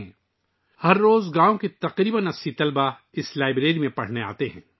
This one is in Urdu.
اس لائبریری میں روزانہ گاؤں کے تقریباً 80 طلباء پڑھنے آتے ہیں